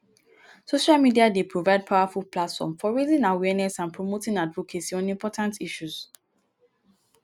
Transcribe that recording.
social media dey provide powerful platform for raising awareness and promoting advocacy on important issues.